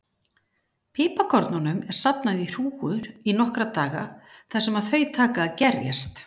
Piparkornunum er safnað í hrúgur í nokkra daga þar sem þau taka að gerjast.